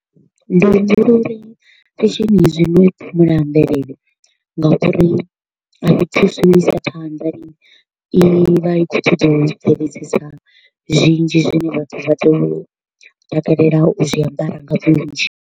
Ndi humbula uri fashion ya zwino i phumula mvelele ngauri thusi u isa phanḓa lini, i vha i kho u ṱoḓa u bveledzisa zwinzhi zwine vhathu vha tea u takalela u zwiambara nga vhunzhi.